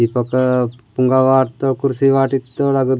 दीपक पोंगा वॉट त कुर्सी वाटित --